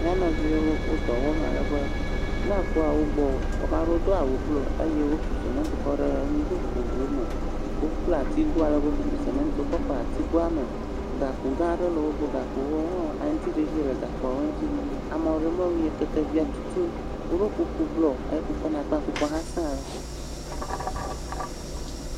M]a nɔviwo wo dɔ wɔm ale be ne ekpɔ wo gbɔ, ame aɖewo do awu blu eye woku simiti kɔ ɖe nugo vovovowo me. Wobla atigo ale be woku simiti kɔ kɔ ɖe atigoa me. Gakpo gã aɖe le wo gbɔ. Gakpowo hã aŋtiɖiɖi le gakpoawo ŋuti. Ame aɖe me ŋue kekevia tutum. Woɖɔ kuku blɔ … kuku hã se ale gbegbe.